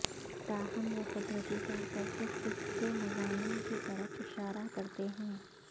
تاہم وہ قدرتی طور پر صرف اس کے مضامین کی طرف اشارہ کرتے ہیں